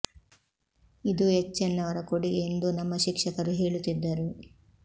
ಇದೂ H N ಅವರ ಕೊಡುಗೆ ಎಂದೂ ನಮ್ಮ ಶಿಕ್ಷಕರು ಹೇಳುತ್ತಿದ್ದರು